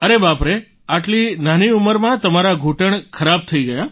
અરે બાપ રે આટલી નાની ઉંમરમાં તમારા ઘૂંટણ ખરાબ થઈ ગયા